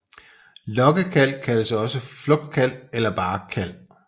Lokkekald kaldes også flugtkald eller bare kald